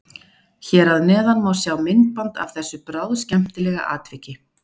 Hér að neðan má sjá myndband af þessu bráðskemmtilega atviki.